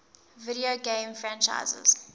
video game franchises